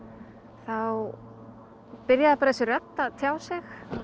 þá byrjaði bara þessi rödd að tjá sig